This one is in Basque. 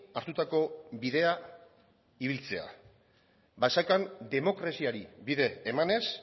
hartutako bidea ibiltzea basakan demokraziari bide emanez